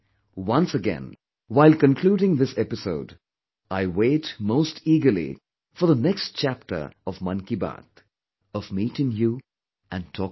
Once again, while concluding this episode, I wait most eagerly for the next chapter of 'Mann Ki Baat', of meeting you and talking to you